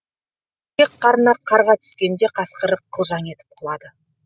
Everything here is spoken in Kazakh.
шек қарны қарға түскенде қасқыр қылжаң етіп құлады